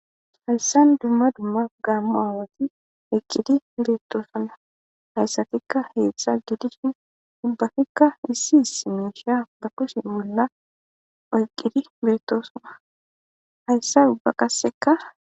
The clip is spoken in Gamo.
Hayssan dumma dumma gaammu aawati eqqidi beettosuna hayssatikka heedtzsa gidishin dubbafikka issi is miisha bakusin bolla oyqqidi beetosuma hayssa dubba qasseka.